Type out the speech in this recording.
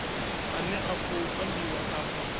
ane a khou ambiwa afha